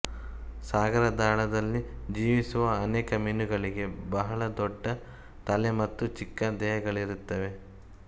ಸಾಗರದಾಳದಲ್ಲಿ ಜೀವಿಸುವ ಅನೇಕ ಮೀನುಗಳಿಗೆ ಬಹಳ ದೊಡ್ಡ ತಲೆ ಮತ್ತು ಚಿಕ್ಕ ದೇಹಗಳಿರುತ್ತವೆ